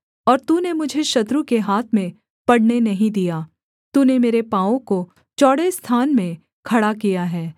और तूने मुझे शत्रु के हाथ में पड़ने नहीं दिया तूने मेरे पाँवों को चौड़े स्थान में खड़ा किया है